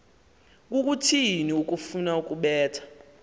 kukuthini ukufuna ukubetha